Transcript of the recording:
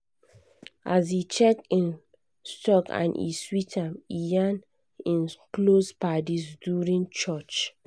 as e check him stock and e sweet am e yarn him close paddies during lunch.